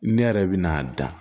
Ne yɛrɛ bɛ na dan